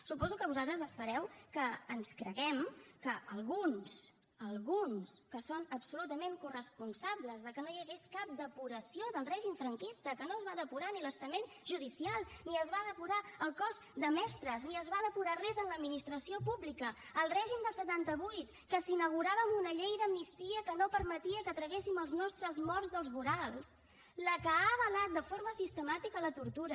suposo que vosaltres espereu que ens creguem que alguns alguns que són absolutament corresponsables de que no hi hagués cap depuració del règim franquista que no es va depurar ni l’estament judicial ni es va depurar el cos de mestres ni es va depurar res en l’administració pública el règim del setanta vuit que s’inaugurava amb una llei d’amnistia que no permetia que traguéssim els nostres morts dels vorals la que ha avalat de forma sistemàtica la tortura